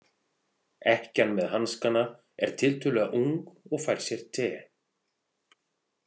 Ekkjan með hanskana er tiltölulega ung og fær sér te.